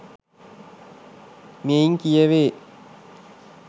මෙයින් කියවේ.